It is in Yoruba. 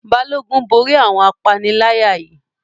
Balógun borí àwọn apaniláyà náà